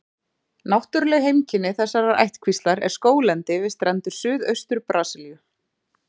Náttúruleg heimkynni þessarar ættkvíslar er skóglendi við strendur Suðaustur-Brasilíu.